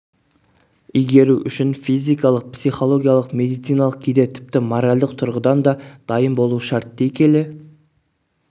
игеру үшін физикалық психологиялық медициналық кейде тіпті моральдық тұрғыдан да дайын болу шарт дей келе